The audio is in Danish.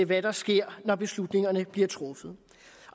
hvad der sker når beslutningerne bliver truffet